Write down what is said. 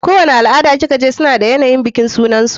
Kowani al-ada ki kaje suna da yanayin bikin sunansu.